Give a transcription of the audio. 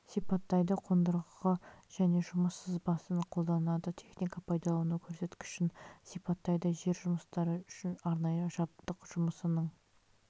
сипаттайды қондырғы және жұмыс сызбасын қолданады техника пайдалану көрсеткішін сипаттайды жер жұмыстары үшін арнайы жабдық жұмысының